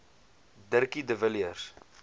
dirkie de villiers